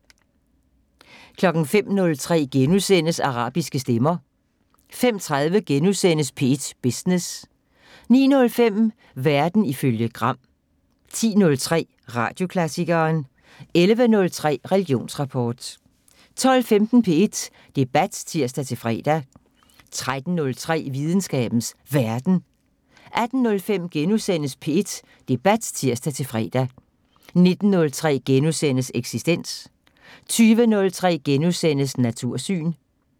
05:03: Arabiske stemmer * 05:30: P1 Business * 09:05: Verden ifølge Gram 10:03: Radioklassikeren 11:03: Religionsrapport 12:15: P1 Debat (tir-fre) 13:03: Videnskabens Verden 18:05: P1 Debat *(tir-fre) 19:03: Eksistens * 20:03: Natursyn *